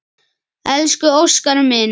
Elsku Óskar minn.